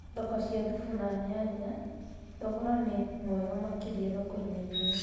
Thoko cia thubu ea nyanya Thogora nĩ mwega makĩria thokoinĩ imwe